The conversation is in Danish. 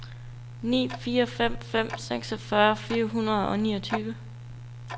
ni fire fem fem seksogfyrre fire hundrede og niogtyve